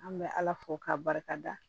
An bɛ ala fo k'a barikada